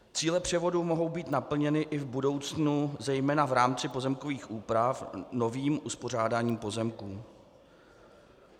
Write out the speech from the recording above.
Cíle převodu mohou být naplněny i v budoucnu zejména v rámci pozemkových úprav novým uspořádáním pozemků.